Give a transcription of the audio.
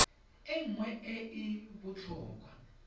e nngwe e e botlhokwa